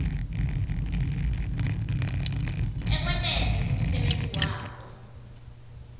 ekwenteni umsebenti wabo